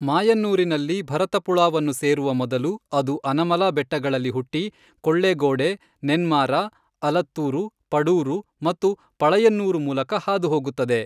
ಮಾಯನ್ನೂರಿನಲ್ಲಿ ಭರತಪುಳಾವನ್ನು ಸೇರುವ ಮೊದಲು, ಅದು ಅನಮಲಾ ಬೆಟ್ಟಗಳಲ್ಲಿ ಹುಟ್ಟಿ ಕೊಳ್ಳೇಗೋಡೆ, ನೆನ್ಮಾರಾ, ಅಲತ್ತೂರು, ಪಡೂರು, ಮತ್ತು ಪಳಯನ್ನೂರು ಮೂಲಕ ಹಾದು ಹೋಗುತ್ತದೆ.